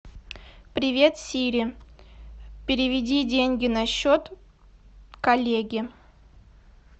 привет сири переведи деньги на счет коллеги